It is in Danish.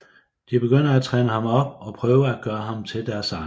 De begynder at træne ham op og prøver at gøre ham til deres egen